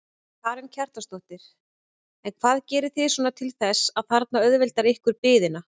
Karen Kjartansdóttir: En hvað gerið þið svona til þess að þarna auðvelda ykkur biðina?